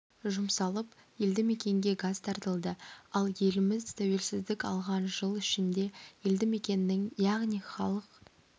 жұмсалып елді мекенге газ тартылды ал еліміз тәуелсіздік алған жыл ішінде елді мекеннің яғни халық